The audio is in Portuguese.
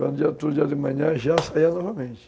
Quando tinha outro dia de manhã, já saía novamente.